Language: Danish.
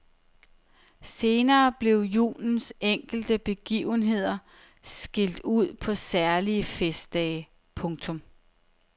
Senere blev julens enkelte begivenheder skilt ud på særlige festdage. punktum